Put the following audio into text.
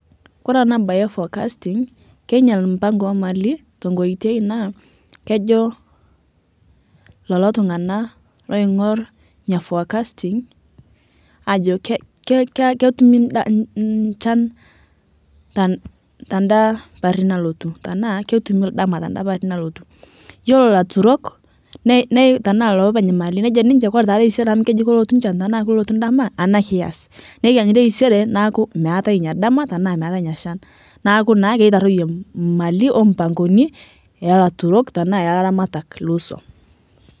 Kore ana baye eforecasting keinyal mpango eemali tenkoitoi naa kejo lolo tung'ana loing'orr nia forecasting ajo ke ke ka keitumi nda nynchan tad tada pari nalotu tanaa kotumi ldama tada pari nalotu, yuolo laturok nei nei tanaa lopeny mali nejo ninche "koree taa teisere amu keji kolotu nchan tanaa kolutu ldama ana kias" neikenyu teisere naaku meatae nia dama tamaa meitae nyia shan naaku naa keitaroiye mali ompangoni elaturok tanaa elaramak loswom.